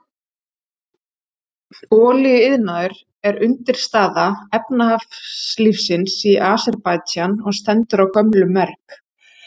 Olíuiðnaður er undirstaða efnahagslífsins í Aserbaídsjan og stendur á gömlum merg.